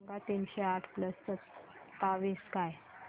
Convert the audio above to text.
सांगा तीनशे आठ प्लस सत्तावीस काय